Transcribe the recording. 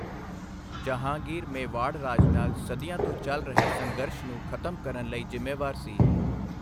ਜਹਾਂਗੀਰ ਮੇਵਾੜ ਰਾਜ ਨਾਲ ਸਦੀਆਂ ਤੋਂ ਚੱਲ ਰਹੇ ਸੰਘਰਸ਼ ਨੂੰ ਖਤਮ ਕਰਨ ਲਈ ਜ਼ਿੰਮੇਵਾਰ ਸੀ।